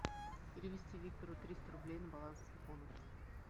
перевести виктору триста рублей на баланс телефона